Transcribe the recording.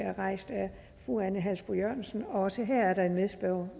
er rejst af fru ane halsboe jørgensen og også her er der en medspørger